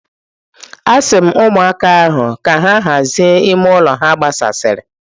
Asi m ụmụaka ahụ ka ha hazie ime ụlọ ha gbasasịrị.